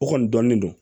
O kɔni dɔnnin don